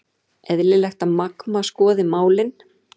Eðlilegt að Magma skoði málin